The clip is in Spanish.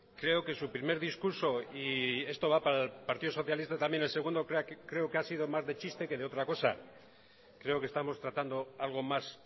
creo que su primer discurso y esto va para el partido socialista también el segundo creo que ha sido más de chiste que de otra cosa creo que estamos tratando algo más